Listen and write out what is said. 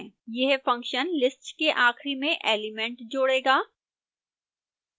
यह function list के आखिरी में एलिमेंट जोड़ेगा